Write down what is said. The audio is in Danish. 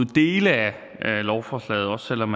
dele af lovforslaget også selv om